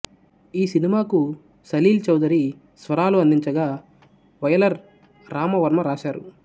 ఈ సినిమాకు సలీల్ చౌదరి స్వరాలు అందించగా వయలర్ రామవర్మ రాశారు